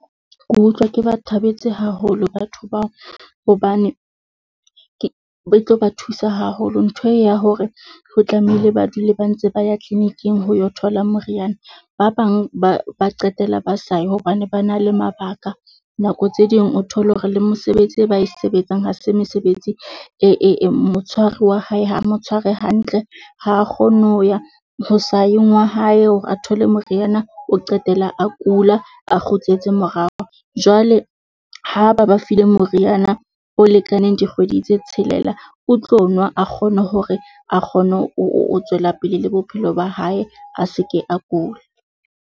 Ke utlwa ke ba thabetse haholo batho bao, hobane ke e tlo ba thusa haholo. Ntho e ya hore ho tlamehile ba dule ba ntse ba ya clinic-ing ho yo thola moriana, ba bang ba ba qetella ba sa ye hobane ba na le mabaka nako tse ding. O thole hore le mosebetsi e ba sebetsang ha se mesebetsi e motshwari wa hae ha mo tshware hantle ha kgone ho ya ho sayeng wa hae, hore a thole moriana o qetela a kula, a kgutletse morao. Jwale ha ba ba file moriana o lekaneng dikgwedi tse tshelela. O tlo nwa a kgone hore a kgone ho tswela pele le bophelo ba hae, a se ke a kula.